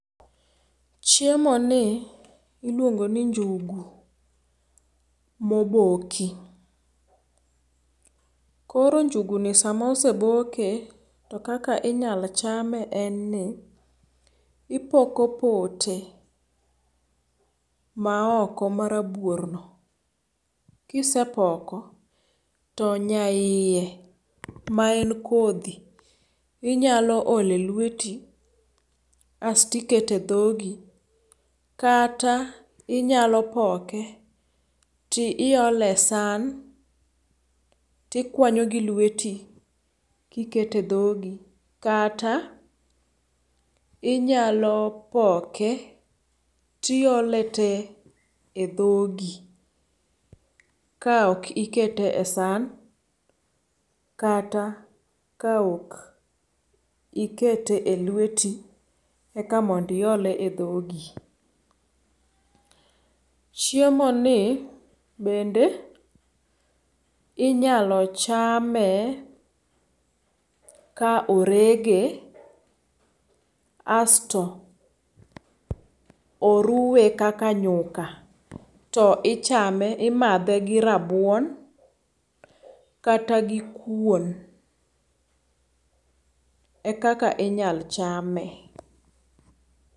chiemo ni iluongo ni njugu moboki, koro njugu ni sama oseboke ,to kaka inyalo chame en ni ipoko pote ma oko maraburno, kisepoko to nya iye ma en kodhi inyalo ole lweti asti kete dhodi kata inyalo poke ti ole san tikwanyo gi lweti kikete dhogi ,kata inyalo poke ti ole te e dhogi ka ok ikete e san kata ka ok ikete e lweti ek mondi ole e dhogi ,chiemo ni bende inyalo chame ka orege asto oruwe kaka nyuka to imadhe gi rabuonkata gi kuon ekaka inyal chame